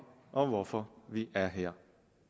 og hvorfor vi er her